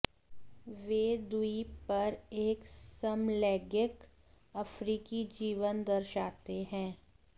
वे द्वीप पर एक समलैंगिक अफ्रीकी जीवन दर्शाते हैं